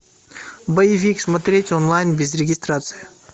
боевик смотреть онлайн без регистрации